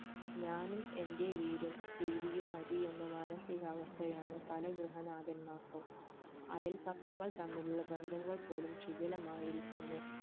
ഞാനും എന്റെ വീടും tv യും മതി എന്ന മാനസികാവസ്ഥ ആണ് പല ഗൃഹനാഥൻമാർക്കും അയല്പക്കങ്ങൾ തമ്മിലുള്ള ബന്ധങ്ങൾ പോലും ശിധിലമായിരിക്കുന്നു